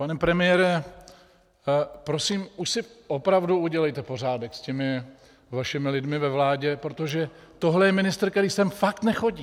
Pane premiére, prosím, už si opravdu udělejte pořádek s těmi vašimi lidmi ve vládě, protože tohle je ministr, který sem fakt nechodí.